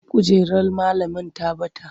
Kujerar malamin ta bata.